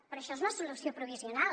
però això és una solució provisional